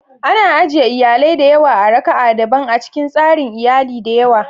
Ana ajiye iyalai da yawa a raka'a daban a cikin tsarin iyali da yawa.